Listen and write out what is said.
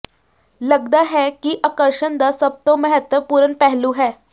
ਲੱਗਦਾ ਹੈ ਕਿ ਆਕਰਸ਼ਣ ਦਾ ਸਭ ਤੋਂ ਮਹੱਤਵਪੂਰਣ ਪਹਿਲੂ ਹੈ